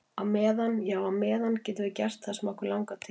Á meðan, já á meðan á meðan getum við gert það sem okkur langar til.